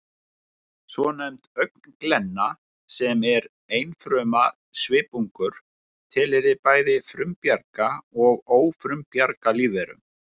Svonefnd augnglenna, sem er einfruma svipungur, tilheyrir bæði frumbjarga og ófrumbjarga lífverum